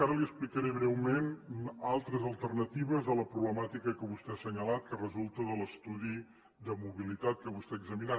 ara li explicaré breument altres alternatives a la problemàtica que vostè ha assenyalat que resulta de l’estudi de mobilitat que vostè ha assenyalat